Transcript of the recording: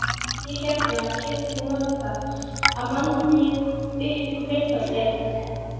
Ég hérna. keypti það notað. af manni uppi í Breiðholti.